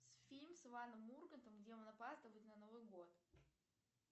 фильм с иваном ургантом где он опаздывает на новый год